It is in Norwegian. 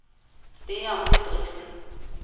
Stian Didriksen